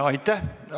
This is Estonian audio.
Aitäh!